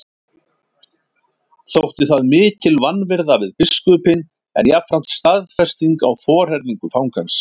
Þótti það mikil vanvirða við biskupinn en jafnframt staðfesting á forherðingu fangans.